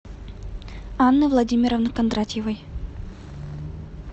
анны владимировны кондратьевой